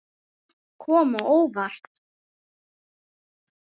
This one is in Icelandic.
Margt kom á óvart.